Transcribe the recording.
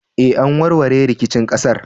Eh, an warware rikicin ƙasar.